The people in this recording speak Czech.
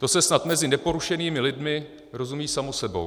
To se snad mezi neporušenými lidmi rozumí samo sebou."